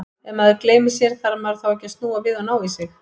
Ef maður gleymir sér, þarf maður þá ekki að snúa við og ná í sig?